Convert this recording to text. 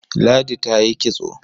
Ladi ta yi kitso.